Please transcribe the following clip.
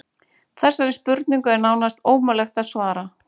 Þessari spurningu er nánast ómögulegt að svara.